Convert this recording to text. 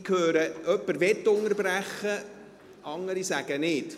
Ich höre, dass jemand unterbrechen möchte, andere wollen dies nicht.